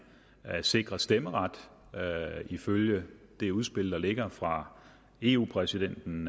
er sikret stemmeret ifølge det udspil der ligger fra eu præsidenten